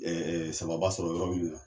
Ɛɛ samanba sɔrɔ yɔrɔ minnu na